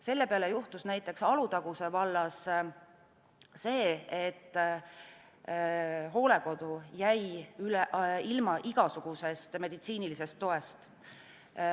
Selle peale juhtus näiteks Alutaguse vallas see, et hooldekodu jäi üldse ilma igasugusest meditsiinilisest toest.